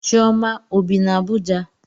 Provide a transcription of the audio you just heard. Chioma ọ bi na Abuja?